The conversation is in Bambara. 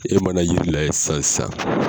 E mana yiri layɛ sisan sisan.